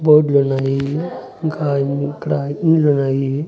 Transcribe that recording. బోడ్లు ఉన్నాయి ఇంకా ఇక్కడ ఇల్లు ఉన్నాయి.